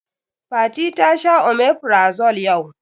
Fati ta sha omeferazole yau